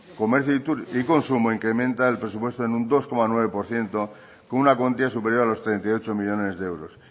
comercio y consumo incrementa el presupuesto en un dos coma nueve por ciento con una cuantía superior a los treinta y ocho millónes de euros